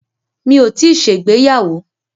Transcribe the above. Mi ò tíì ṣègbéyàwó.